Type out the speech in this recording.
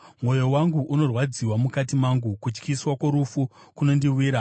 Mwoyo wangu unorwadziwa mukati mangu; kutyisa kworufu kunondiwira.